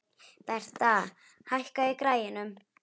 Bertha, hækkaðu í græjunum.